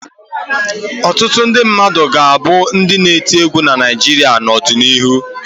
Ọtụtụ ndị mmadụ ga-abụ ndị na-eti egwu na Naịjirịa n'ọdịnihu.